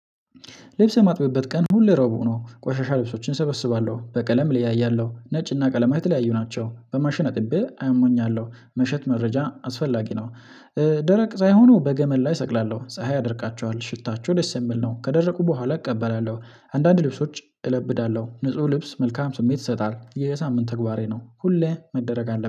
ልብስ የማጥበበት ቀን ሁሉ ረቡዕ ነው። ቆሻሻ ልብሶችን እሰበስባለሁ። በቀለም ለያያለሁ። ነጭና ቀለማት የተለያዩ ናቸው። በማሽን አጥቤ አሞኛለሁ። ሙሸት መረጃ አስፈላጊ ነው። ደረቅ ሳይሆኑ በገመድ ላይ እሰቅላለሁ። ፀሀይ ያደርቃቸዋል። ሽታቸው ደስ የሚል ነው። ከደረቁ በኋላ እቀበላለሁ። አንዳንድ ልብሶች እለብዳለሁ። ንጹህ ልብስ መልካም ስሜት ይሰጣል። የሳምንት ተግባሬ ነው። ሁሌ መደረግ አለ